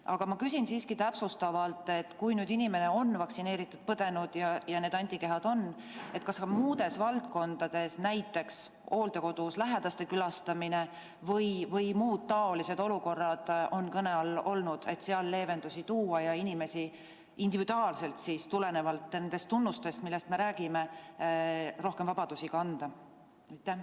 Aga ma küsin siiski täpsustuseks, et kui inimene on vaktsineeritud või haiguse läbi põdenud ja antikehad on veres olemas, siis kas ka muudes valdkondades, näiteks hooldekodus olevate lähedaste külastamise või muude taoliste olukordadega seoses, on kõne all olnud leevenduste võimaldamine ja inimestele individuaalselt, tulenevalt nendest tunnustest, millest me räägime, rohkemate vabaduste andmine.